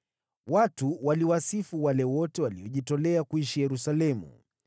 Watu waliwasifu wale wote waliojitolea kuishi Yerusalemu.